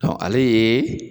Dɔnku ale ye